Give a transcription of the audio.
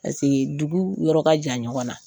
Paseka dugu yɔrɔ ka jan ɲɔgɔn na.